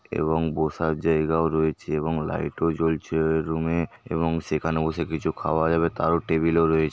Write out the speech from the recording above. এবং বসার জায়গাও রয়েছে এবং লাইট ও জ্বলছে রুমে এবং সেখানে বসে কিছু খাওয়া যাবে তারও টেবিলে রয়েছে।